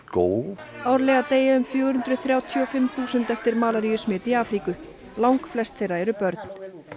árlega deyja um fjögur hundruð þrjátíu og fimm þúsund eftir malaríusmit í Afríku langflest þeirra eru börn